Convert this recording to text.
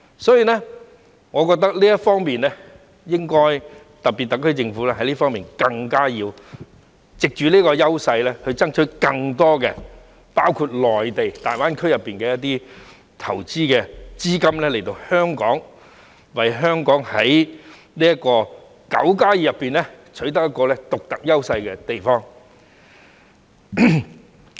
因此，我認為特區政府應藉着這方面優勢，爭取更多——包括內地大灣區——的投資資金來港，為香港在"九加二"中取得獨特的優勢。